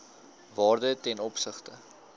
waarde ten opsigte